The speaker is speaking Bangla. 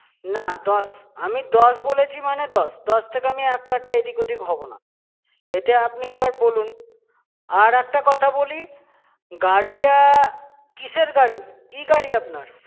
না দশ। আমি দশ বলেছি, মানে দশ! দশ থেকে আমি কাটা এদিক-ওদিক হব না। এতে আপনি এবার বলুন, আর একটা কথা বলি, গাড়িটা কিসের গাড়ি? কি গাড়ি আপনার?